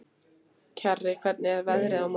Kjarri, hvernig er veðrið á morgun?